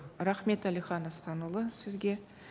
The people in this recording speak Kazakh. рахмет әлихан асқанұлы сізге